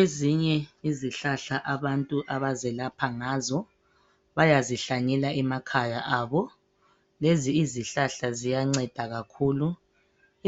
Ezinye izihlahla abazelapha ngazo bayazihlanyela emakhaya abo. Lezi izihlahla ziyanceda kakhulu